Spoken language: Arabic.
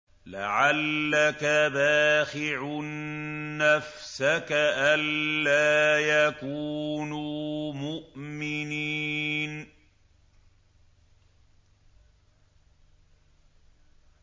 لَعَلَّكَ بَاخِعٌ نَّفْسَكَ أَلَّا يَكُونُوا مُؤْمِنِينَ